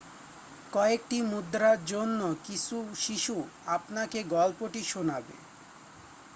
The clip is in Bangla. কয়েকটি মুদ্রার জন্য কিছু শিশু আপনাকে গল্পটি শোনাবে